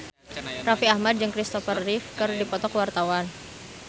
Raffi Ahmad jeung Kristopher Reeve keur dipoto ku wartawan